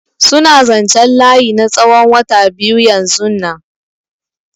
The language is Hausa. Suna zanchen layi na tsawon wata biyu yanzunnan.